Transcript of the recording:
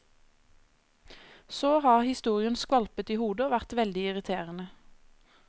Så har historien skvalpet i hodet og vært veldig irriterende.